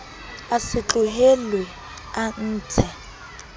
a se tlohellwe a ntshe